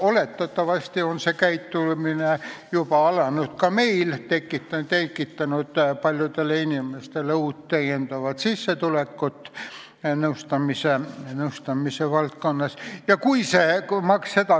Oletatavasti on see käitumine juba alanud ka meil, see on tekitanud paljudele inimestele nõustamisvaldkonnas lisasissetulekut.